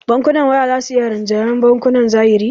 Bankunan waya za su iya rinjayar bankunan zahiri